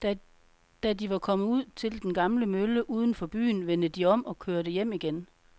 Da de var kommet ud til den gamle mølle uden for byen, vendte de om og kørte hjem igen.